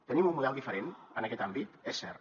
tenim un model diferent en aquest àmbit és cert